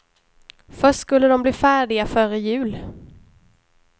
Först skulle de bli färdiga före jul.